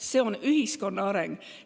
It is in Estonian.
See on ühiskonna areng.